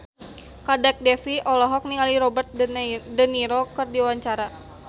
Kadek Devi olohok ningali Robert de Niro keur diwawancara